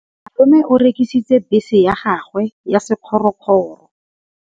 Malome o rekisitse bese ya gagwe ya sekgorokgoro.